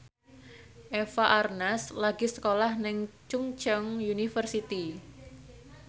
Eva Arnaz lagi sekolah nang Chungceong University